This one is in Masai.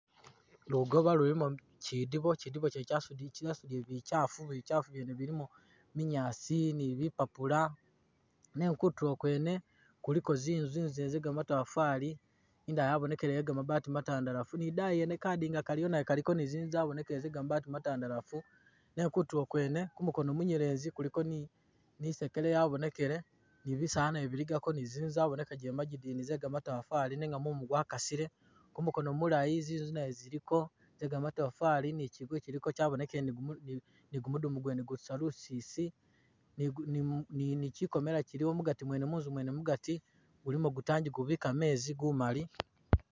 Lugoba lulimo kyidibo kyasudile bikaafu bikyaafu byene bilimo minyaasi ni bipapula nenga kutro kwene kuliko zinzu zinzu zene ze gamatofali indala yabonekelele yega mabaati matandalafu ni dayi yene naye kadinga kaliyo kaliko zinzu zabonekele ze gamabaati matandalafu nenga kutulo kwene kumukono munyelezi kuliko ni isekele yabonekele ni bisaala nabyo biligako ni zinzu zabonekagile magidini zegamatafali nenga mumu gwakasile kumukono mulayi zinzu nazo ziliko zegamatafali ni kyiyu kyabonekele ni gumudumu gwene gutusa lusisi ni kyikomela kyilimo munzu mwene mugati mulimo gutangi gubika meezi gumali.